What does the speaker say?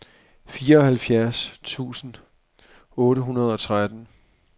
fireoghalvfjerds tusind otte hundrede og tretten